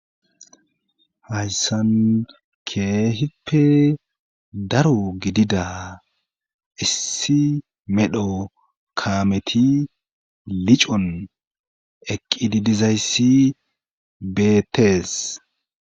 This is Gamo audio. Hayssan keehippe daro gidida issi medho kaameti licon eqqididizayssi beetees.